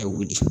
A wuli